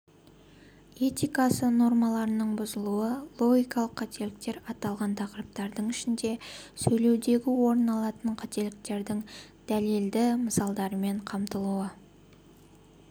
этикасы нормаларының бұзылуы логикалық қателіктер аталған тақырыптардың ішінде сөйлеудегі орын алатын қателіктердің дәлелді мысалдармен қамтылуы